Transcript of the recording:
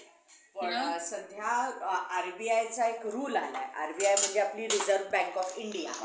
पण सध्या RBI चा एक rule आलाय RBI म्हणजे आपली रिजर्व बँक ऑफ इंडिया.